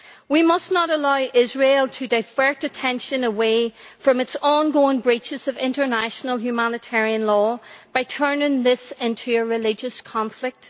We must not allow Israel to divert attention away from its ongoing breaches of international humanitarian law by turning this into a religious conflict.